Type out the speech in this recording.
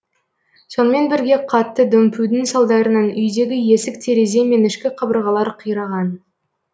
сонымен бірге қатты дүмпудің салдарынан үйдегі есік терезе мен ішкі қабырғалар қираған